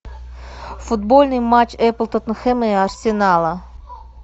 футбольный матч апл тоттенхэма и арсенала